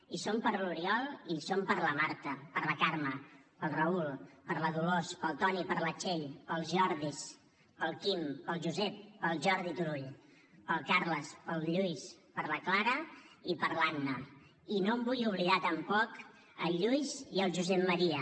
hi som per l’oriol i hi som per la marta per la carme pel raül per la dolors pel toni per la txell pels jordis pel quim pel josep pel jordi turull pel carles pel lluís per la clara i per l’anna i no em vull oblidar tampoc el lluís i el josep maria